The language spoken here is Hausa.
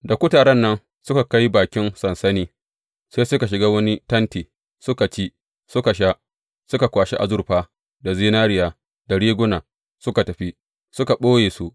Da kutaren nan suka kai bakin sansanin, sai suka shiga wani tenti, suka ci, suka sha, suka kwashi azurfa, da zinariya, da riguna, suka tafi, suka ɓoye su.